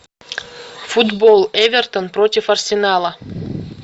футбол эвертон против арсенала